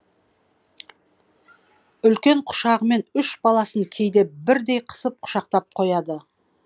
үлкен құшағымен үш баласын кейде бірдей қысып құшақтап қояды